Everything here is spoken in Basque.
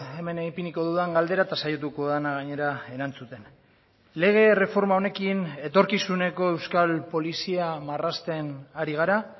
hemen ipiniko dudan galdera eta saiatuko dena gainera erantzuten lege erreforma honekin etorkizuneko euskal polizia marrazten ari gara